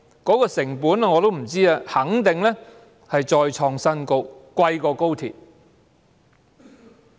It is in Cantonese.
我不知成本是多少，但肯定再創新高，較高鐵更昂貴。